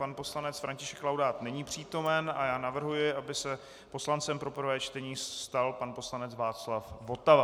Pan poslanec František Laudát není přítomen a já navrhuji, aby se poslancem pro prvé čtení stal pan poslanec Václav Votava.